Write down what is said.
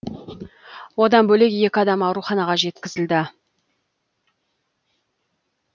одан бөлек екі адам ауруханаға жеткізілді